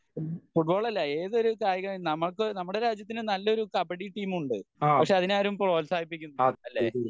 football അല്ല ഏതൊരു കായികം നമ്മക് നമ്മുടെ രാജ്യത്തിന് നല്ലൊരു കബഡി ടീം ഉണ്ട് പക്ഷ അതിനെ ആരും പ്രോഹത്സാഹിപ്പിക്കുന്നില്ല അല്ലെ